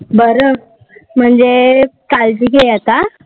बर, म्हणजे काळजी घे आता.